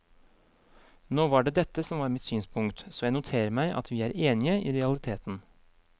Nå var det dette som var mitt synspunkt, så jeg noterer meg at vi er enige i realiteten.